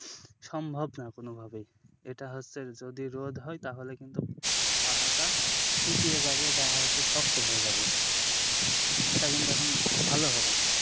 সম্ভব না কোন ভাবেই এটা হচ্ছে যদি রোদ হয় তাহলে কিন্তু পাতাটা শুকিয়ে যাবে বা হচ্ছে শক্ত হয়ে যাবে, সেটা কিন্তু এখন ভাল হবে না।